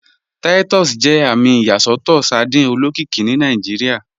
Titus jẹ àmì ìyàsọtọ sardine olókìkí ni Nàìjíríà.